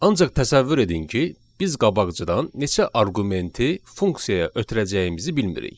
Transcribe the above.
Ancaq təsəvvür edin ki, biz qabaqcadan neçə arqumenti funksiyaya ötürəcəyimizi bilmirik.